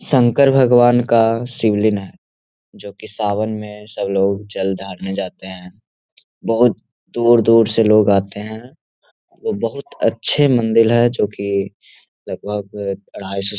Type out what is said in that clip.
शंकर भगवान का शिवलिंग है जो की सावन में सब लोग जल ढारने जाते हैं। बहुत दूर-दूर से लोग आते हैं और वो बहुत अच्छे मंदिर है जो की लगभग --